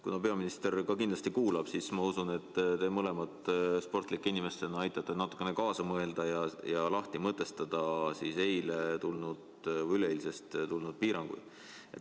Kuna peaminister ka kindlasti kuulab, siis ma usun, et te mõlemad sportlike inimestena mõtlete kaasa ja aitate natukene lahti mõtestada eile või üleeile tulnud piiranguid.